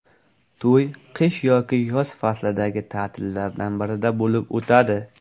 To‘y qish yoki yoz fazlidagi ta’tillardan birida bo‘lib o‘tadi.